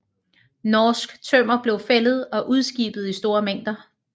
Norsk tømmer blev fældet og udskibet i store mængder